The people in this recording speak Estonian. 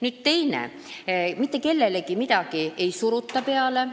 Teiseks ei suruta mitte kellelegi midagi peale.